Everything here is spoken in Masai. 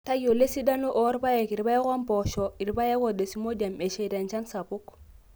tayiolol esidano oopaek, irpaek ompoosho, irpaek o desmodium esheita enchan sapuk.